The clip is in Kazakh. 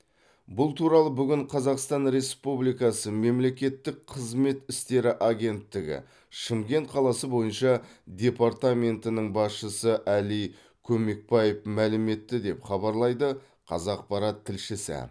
бұл туралы бүгін қазақстан республикасы мемлекеттік қызмет істері агенттігі шымкент қаласы бойынша департаментінің басшысы әли көмекбаев мәлім етті деп хабарлайды қазақпарат тілшісі